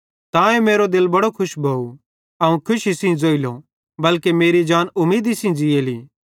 तांए मेरो दिल बड़ो खुश भोव ते अवं खुशी सेइं ज़ोइलो बल्के मेरी जान उमीदी सेइं ज़ीएली